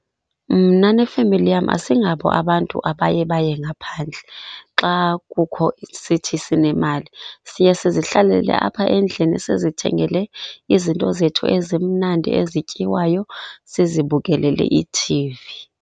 Mna nefemeli yam asingabo abantu abaye baye ngaphandle xa kukho sithi sinemali siye, sizihlalele apha endlini sizithengele izinto zethu ezimnandi ezityiwayo sizibukelele i-T_V.